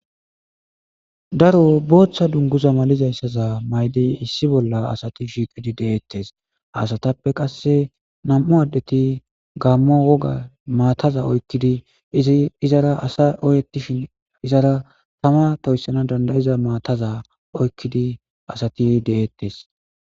Daro boththa duniguza malizayisa mayiddi issi bolla asati shiqqid de'etees.haa asatappe qase nam''u adeti Gamo woga mataza oyikkidi izzi izara asa oyetishshin izara tamma toyisanawu danida'iza matazza oyikkidi asati de'etees.